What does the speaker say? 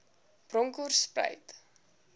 bronkhortspruit